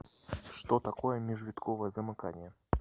что такое межвитковое замыкание